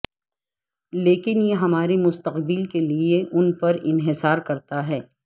لیکن یہ ہمارے مستقبل کے لئے ان پر انحصار کرتا ہے